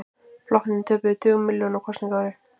Flokkarnir töpuðu tugum milljóna á kosningaári